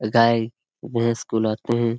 ए गाय भैंस को लाते हैं।